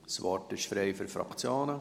Das Wort ist frei für Fraktionen.